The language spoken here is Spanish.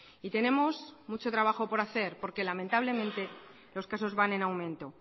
y tenemos mucho trabajo por hacer porque lamentablemente los casos van en aumento